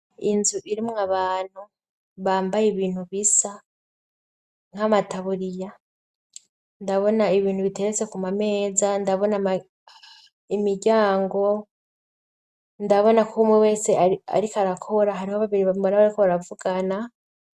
Inzu irimwo abantu bambaye ibintu bisa nk'amataburiya, ndabona ibintu biteretse kumameza, ndabona imiryango, ndabona ko umwe wese arik'arakora, hariho babiri mbona bariko barakuvugana.